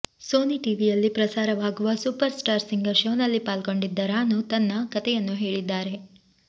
Sony ಟಿವಿಯಲ್ಲಿ ಪ್ರಸಾರವಾಗುವ super star singer ಶೋನಲ್ಲಿ ಪಾಲ್ಗೊಂಡಿದ್ದ ರಾನು ತನ್ನ ಕಥೆಯನ್ನು ಹೇಳಿದ್ದಾಳೆ